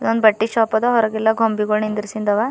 ಒಂದ್ ಬಟ್ಟೆ ಶಾಪ್ ಅದ ಹೊರಗೆಲ್ಲ ಗೊಂಬೆಗೊಳ್ ನಿಂದ್ರುಸಿಂದವ.